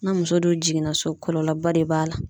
Na muso dun jiginna so kɔlɔlɔba de b'a la.